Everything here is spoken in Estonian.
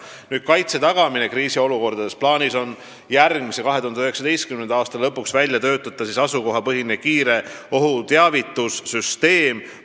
Mis puutub kaitse tagamisse kriisiolukordades, siis plaanis on järgmise, 2019. aasta lõpuks välja töötada asukohapõhine kiire ohust teavituse süsteem.